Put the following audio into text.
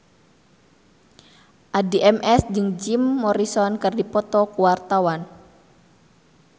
Addie MS jeung Jim Morrison keur dipoto ku wartawan